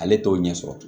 Ale t'o ɲɛ sɔrɔ